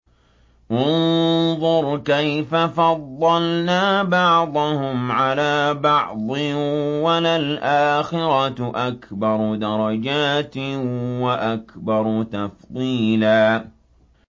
انظُرْ كَيْفَ فَضَّلْنَا بَعْضَهُمْ عَلَىٰ بَعْضٍ ۚ وَلَلْآخِرَةُ أَكْبَرُ دَرَجَاتٍ وَأَكْبَرُ تَفْضِيلًا